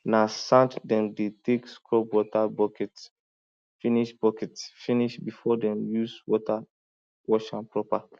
na sand dem dey take scrub water buckets finish buckets finish before dem use water wash am proper